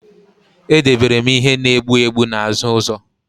Edebere m ihe na-egbu egbu n'azụ ụzọ